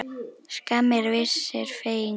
Skammir vissir fengu.